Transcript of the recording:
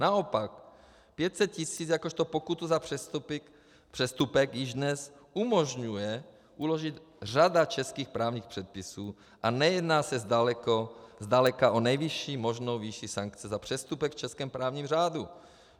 Naopak, 500 tisíc jakožto pokutu za přestupek již dnes umožňuje uložit řada českých právních předpisů a nejedná se zdaleka o nejvyšší možnou výši sankce za přestupek v českém právním řádu.